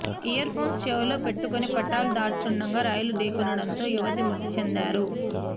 earphones చెవిలో పెట్టుకుని పట్టాలు దాటుతుండగా రైలు ఢీకొనడంతో యువతి మృతి చెందారు